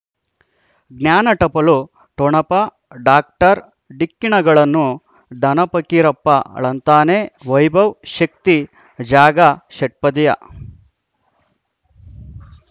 ಜ್ಞಾನ ಟಪಲು ಠೊಣಪ ಡಾಕ್ಟರ್ ಢಿಕ್ಕಿ ಣಗಳನು ಧನ ಪಕೀರಪ್ಪ ಳಂತಾನೆ ವೈಭವ್ ಶಕ್ತಿ ಜಾಗಾ ಷಟ್ಪದಿಯ